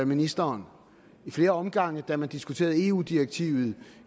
ministeren i flere omgange da man diskuterede eu direktivet